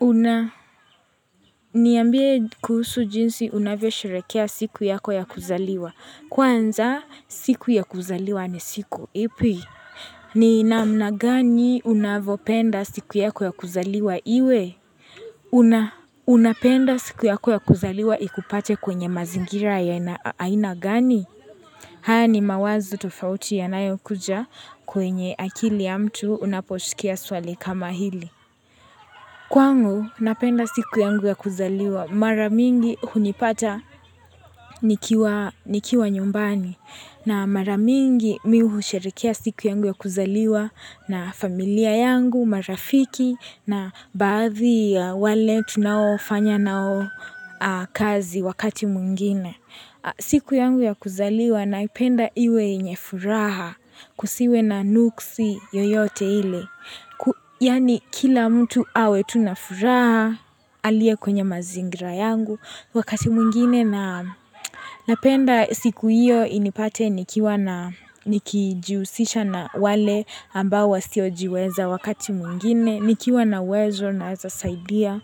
Una niambie kuhusu jinsi unavyosherehekea siku yako ya kuzaliwa. Kwanza siku ya kuzaliwa ni siku ipi? Ni namna gani unavyopenda siku yako ya kuzaliwa iwe? Una unapenda siku yako ya kuzaliwa ikupate kwenye mazingira ya aina gani? Haya ni mawazo tofauti yanayokuja kwenye akili ya mtu unaposikia swali kama hili Kwangu, napenda siku yangu ya kuzaliwa. Mara mingi hunipata nikiwa nyumbani na mara mingi mi husherehekea siku yangu ya kuzaliwa na familia yangu, marafiki na baadhi ya wale tunaofanya nao kazi wakati mwingine. Siku yangu ya kuzaliwa naipenda iwe yenye furaha kusiwe na nuksi yoyote ile. Yaani kila mtu awe tu na furaha aliye kwenye mazingira yangu. Wakati mwingine na napenda siku hiyo inipate nikijihusisha na wale ambao wasiojiweza wakati mwingine. Nikiwa na uwezo naweza saidia.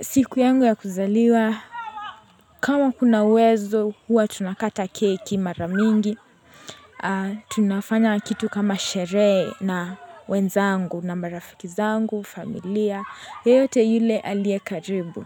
Siku yangu ya kuzaliwa kama kuna uwezo huwa tunakata keki mara mingi tunafanya kitu kama sherehe na wenzangu na marafiki zangu, familia, yeyote yule aliye karibu.